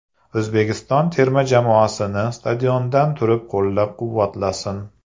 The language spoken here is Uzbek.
O‘zbekiston terma jamoasini stadiondan turib qo‘llab-quvvatlasin.